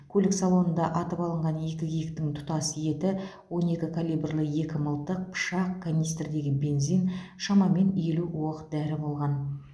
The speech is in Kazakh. көлік салонында атып алынған екі киіктің тұтас еті он екі калибрлі екі мылтық пышақ канистрдегі бензин шамамен елу оқ дәрі болған